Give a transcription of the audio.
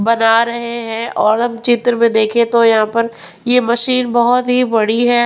बना रहे हैं और हम चित्र में देखें तो यहां पर ये मशीन बहुत ही बड़ी है.